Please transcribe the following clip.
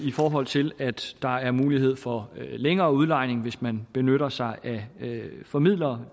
i forhold til at der er mulighed for længere udlejning hvis man benytter sig af formidlere